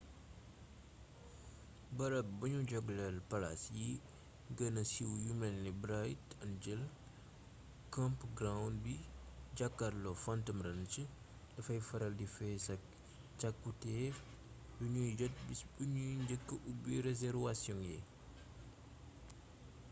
barab buñu jagleel palaas yi gëna siiw yu melni bright angel campground bi jaakarlook phantom ranch dafay faral di fees ak cakkutéef yuñuy jot bis biñuy njëkka ubbi reserwasiyoŋ yi